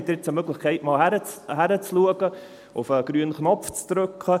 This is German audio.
Hier haben Sie jetzt einmal die Möglichkeit, hinzuschauen, auf den grünen Knopf zu drücken.